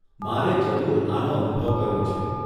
મારે જરૂર આનો અનુભવ કરવો છે.